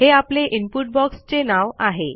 हे आपले input box चे नाव आहे